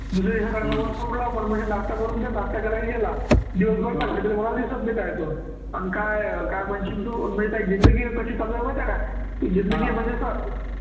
नाश्ता करून दे नाश्ता केला की गेला दिवसभर अं काय काय म्हणशील तू माझी काय जिंदगी आहे कशी चालू आहे माहिती आहे का, जिंदगी म्हणजे असं